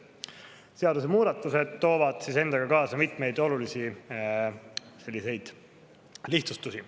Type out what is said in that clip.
Seadusemuudatused toovad endaga kaasa mitmeid olulisi lihtsustusi.